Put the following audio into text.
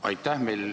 Aitäh!